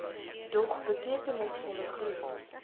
dog betekenisvolle groei